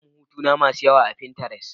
Na sami hotuna masu yawa a pinterest.